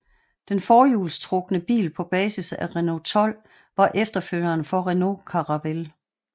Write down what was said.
Den forhjulstrukne bil på basis af Renault 12 var efterfølgeren for Renault Caravelle